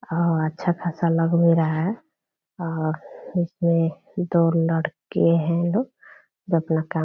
और अच्छा खासा लग भी रहा है और इसमें दो लड़के हैं दो जो अपना काम --